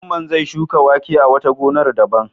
Mamman zai shuka wake a wata gonar daban.